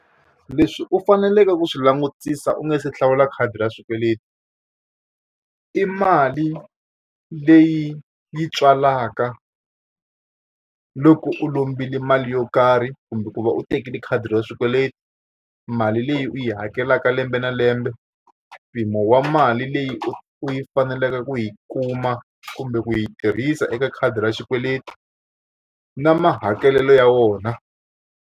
Leswi u faneleke ku swi langutisa u nga se hlawula khadi ra swikweleti, i mali leyi yi tswalaka loko u lombile mali yo karhi kumbe ku va u tekile khadi ra swikweleti, mali leyi u yi hakelaka lembe na lembe, mpimo wa mali leyi u u yi faneleke ku yi kuma kumbe ku yi tirhisa eka khadi ra xikweleti, na mahakelelo ya wona.